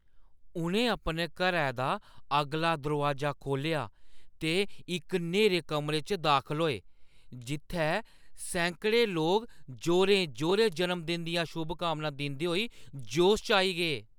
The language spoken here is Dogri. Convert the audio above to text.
उʼनें अपने घरै दा अगला दरोआजा खोह्‌ल्लेआ ते इक न्हेरे कमरे च दाखल होए जित्थै सैंकड़े लोक जोरें-जोरें जन्मदिन दियां शुभकामनां दिंदे होई जोश च आई गे।